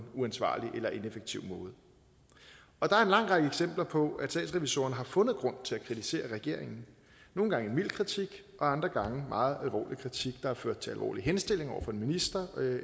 uansvarlig eller ineffektiv måde og der er en lang række eksempler på at statsrevisorerne har fundet grund til at kritisere regeringen nogle gange en mild kritik og andre gange en meget alvorlig kritik der har ført til alvorlige henstillinger over for en minister